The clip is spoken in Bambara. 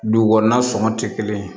Dugu kɔnɔna sɔngɔ tɛ kelen ye